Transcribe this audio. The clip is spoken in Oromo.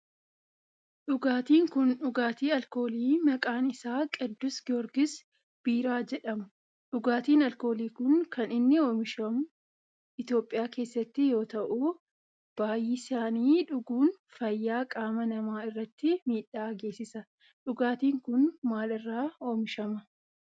Dhugaatin kun dhugaatii alkoolii maqaan isaa qiddus giyoorgis biiraa jedhamudha. Dhugaatiin alkoolii kun kan inni oomishamu Itiyophiyaa keessatti yoo ta'u baayyisanii dhuguun fayyaa qaama namaa irratti miidhaa geessisa. Dhugaatin kun maal irraa oomishama?